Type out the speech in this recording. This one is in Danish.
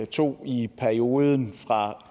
tog i perioden fra